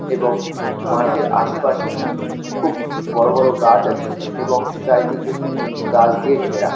এবং মাঠের আশেপাশে খুব বড় বড় গাছ আছে এবং চারিদিকে গাছ দিয়ে ঘেরা।